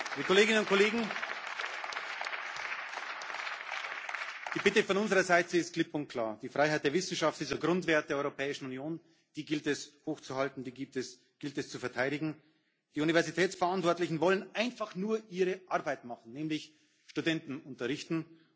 Die Bitte von unserer Seite ist klipp und klar Die Freiheit der Wissenschaft ist ein Grundwert der Europäischen Union, die gilt es hochzuhalten und die gilt es zu verteidigen. Die Universitätsverantwortlichen wollen einfach nur ihre Arbeit machen, nämlich Studenten unterrichten.